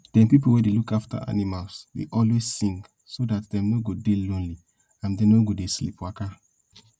dem pipo wey dey look afta animals dey always sing so dat dem no go dey lonely and no go dey sleep waka